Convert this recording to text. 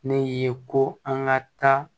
Ne ye ko an ka taa